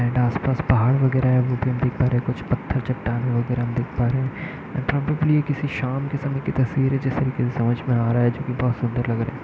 And आस-पास पहाड़ वगेरा है वो भी हम देख पा रहें हैं कुछ पत्थर चट्टाने वगेरा हम देख पा रहे हैं। प्रोबबैली ये किसी शाम के समय का तस्वीर है जिस तरीके का समझ में आ रहा है जो कि बहोत सुंदर लग रहा है।